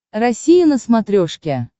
россия на смотрешке